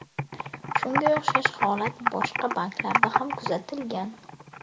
Shunga o‘xshash holat boshqa banklarda ham kuzatilgan.